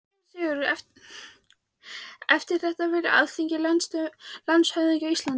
SÉRA SIGURÐUR: Eftir það velur Alþingi landshöfðingja á Íslandi.